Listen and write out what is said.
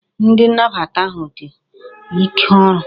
Ndi nnabata ahu di ike oru